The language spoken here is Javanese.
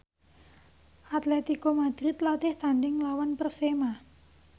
Atletico Madrid latih tandhing nglawan Persema